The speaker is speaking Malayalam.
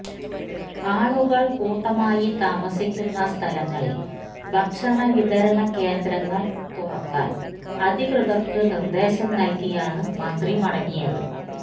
ആളുകൾ കൂട്ടമായി താമസിക്കുന്ന സ്ഥലങ്ങളിൽ ഭക്ഷണവിതരണ കേന്ദ്രങ്ങൾ തുറക്കാൻഅധികൃതർക്കു നിർദ്ദേശം നൽകിയാണ് മന്ത്രി മടങ്ങിയത്